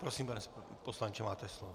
Prosím, pane poslanče, máte slovo.